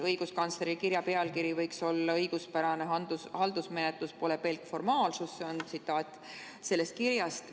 Õiguskantsleri kirja pealkiri võiks olla "Õiguspärane haldusmenetlus pole pelk formaalsus" – see on tsitaat sellest kirjast.